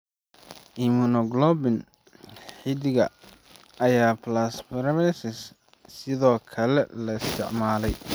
Immunoglobulin xididka, iyo plasmapheresis ayaa sidoo kale la isticmaalay.